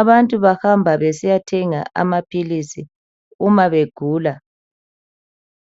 abantu bahamba besiyathenga amaphilisi uma begula.